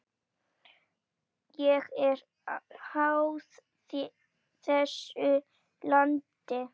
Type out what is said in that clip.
Ég er háð þessu landi.